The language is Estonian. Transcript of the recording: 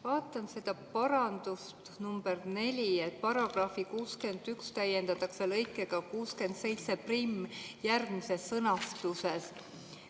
Vaatan seda nr 4, et § 61 täiendatakse lõikega 671 järgmises sõnastuses.